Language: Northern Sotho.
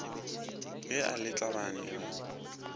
ge a le tlhabane a